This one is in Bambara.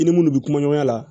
I ni munnu bɛ kuma ɲɔgɔnya la